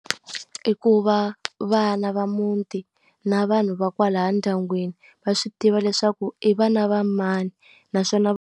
I ku va vana va muti na vanhu va kwala ndyangwini va swi tiva leswaku i vana va mani naswona .